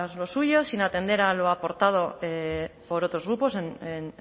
lo suyo sin atender a lo aportado por otros grupos en